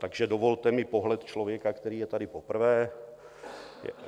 Takže dovolte mi pohled člověka, který je tady poprvé.